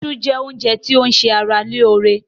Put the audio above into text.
Isu jẹ́ oúnjẹ ti o ń se ara lóóre.